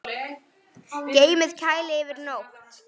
Geymið í kæli yfir nótt.